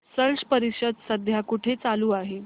स्लश परिषद सध्या कुठे चालू आहे